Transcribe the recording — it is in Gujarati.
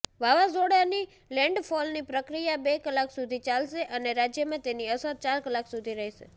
વાવાઝોડાની લેન્ડફોલની પ્રક્રિયા બે કલાક સુધી ચાલશે અને રાજ્યમાં તેની અસર ચાર કલાક સુધી રહેશે